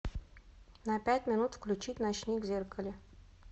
на пять минут включить ночник в зеркале